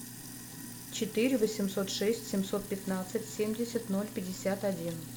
четыре восемьсот шесть семьсот пятнадцать семьдесят ноль пятьдесят один